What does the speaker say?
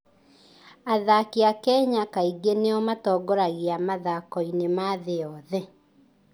Athaki a Kenya kaingĩ nĩo matongoragia mathako-inĩ ma thĩ yothe.